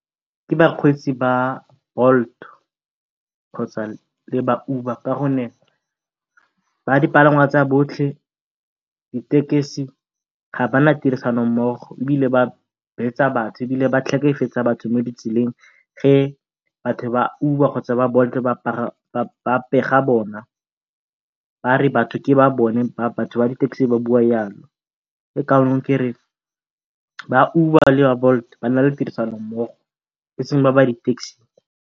Ke bakgweetsi ba Bolt kgotsa le ba Uber ka gonne ba dipalangwa tsa botlhe ditekesi ga bana tirisano mmogo, ebile ba betsa batho ebile ba tlhekefetsa batho mo ditseleng ge batho ba Uber kgotsa ba Bolt ba pega bona bare batho ke ba bone batho ba di-taxi ba bua jalo. Ke ka moo kereng ba Uber le ba Bolt ba nale tirisano mmogo e seng ba ba ditekesi.